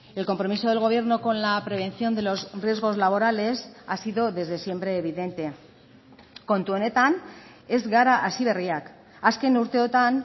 el compromiso del gobierno con la prevención de los riesgos laborales ha sido desde siempre evidente kontu honetan ez gara hasiberriak azken urteotan